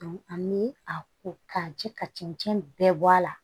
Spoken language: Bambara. an bi a ko ka ji ka cɛncɛn bɛɛ bɔ a la